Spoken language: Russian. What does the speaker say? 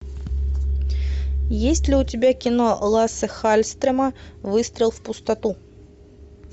есть ли у тебя кино лассе халльстрема выстрел в пустоту